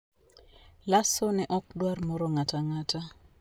Lasso ne ok dwar moro ng'ato ang'ata...